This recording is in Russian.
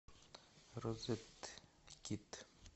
розет кит